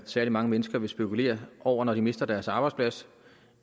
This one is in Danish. særlig mange mennesker vil spekulere over når de mister deres arbejdsplads